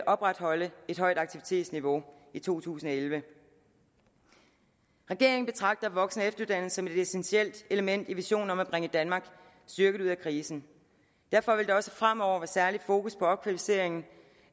opretholde et højt aktivitetsniveau i to tusind og elleve regeringen betragter voksen og efteruddannelse som et essentielt element i visionen om at bringe danmark styrket ud af krisen derfor vil der også fremover være særligt fokus på opkvalificering